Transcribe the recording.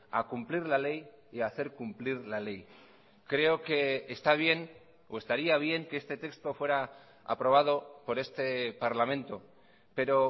a cumplir la ley y hacer cumplir la ley creo que está bien o estaría bien que este texto fuera aprobado por este parlamento pero